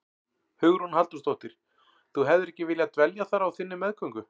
Hugrún Halldórsdóttir: Þú hefðir ekki viljað dvelja þar á þinni meðgöngu?